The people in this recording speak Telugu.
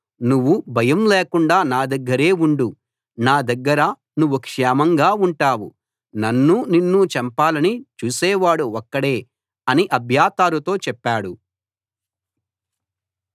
నువ్వు భయం లేకుండా నా దగ్గరే ఉండు నా దగ్గర నువ్వు క్షేమంగా ఉంటావు నన్నూ నిన్నూ చంపాలని చూసేవాడు ఒక్కడే అని అబ్యాతారుతో చెప్పాడు